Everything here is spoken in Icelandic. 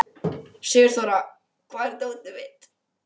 Sigurþóra, hvar er dótið mitt?